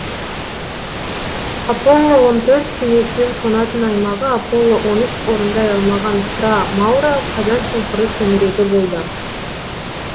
аполло он төрт кемесінің қонатын аймағы аполло он үш орындай алмаған фра мауро қазаншұңқыры төңірегі болды